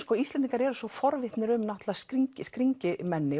Íslendingar eru forvitnir um skringimenni